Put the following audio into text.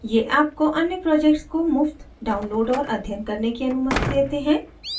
ये आपको अन्य projects को मुफ़्त download और अध्ययन करने की अनुमति देते हैं